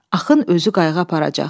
Axın özü qayığa aparacaq.